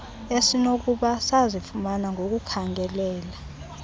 esinokuba sazifumana ngokuzikhangelela